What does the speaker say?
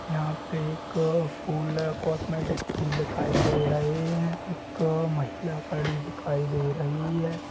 यहाँ पे एक एक फोल्ड हैं कॉस्मेटिक फूल दिखाई दे रहे हैं ये एक महिला खड़ी दिखाई दे रही हैं।